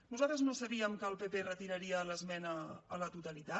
nosaltres no sabíem que el pp retiraria l’esmena a la totalitat